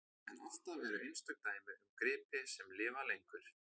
En alltaf eru einstök dæmi um gripi sem lifa lengur.